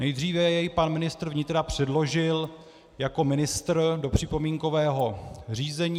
Nejdříve jej pan ministr vnitra předložil jako ministr do připomínkového řízení.